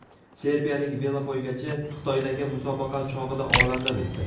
Serbiyalik velopoygachi Xitoydagi musobaqa chog‘ida olamdan o‘tdi.